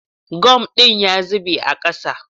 Gum din ya zube a ƙasa